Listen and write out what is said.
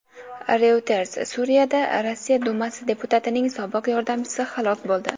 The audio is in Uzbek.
Reuters: Suriyada Rossiya Dumasi deputatining sobiq yordamchisi halok bo‘ldi.